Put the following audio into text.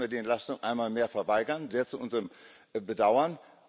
Deshalb müssen wir die Entlastung einmal mehr verweigern sehr zu unserem Bedauern.